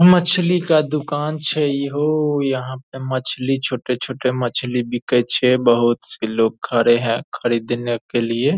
मछली का दुकान छै इहो यहां पे मछली छोटे-छोटे मछली बिकै छे बहुत से लोग खड़े हैं खरीदने के लिए।